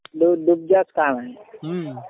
डुबाजच काम आहे.